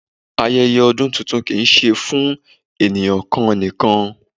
Ayẹyẹ ọdún tuntun kìí ṣe fún àwọn ènìyàn kan nìkan.